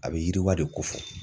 A bɛ yiriwa de ko fɔ.